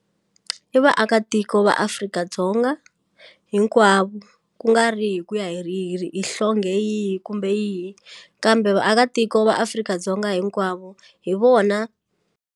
I vaakatiko va Afrika-Dzonga hinkwavo kungari hi ku ya hi ri hi ri hi yihi kumbe yihi kambe vaakatiko va Afrika-Dzonga hinkwavo hi vona.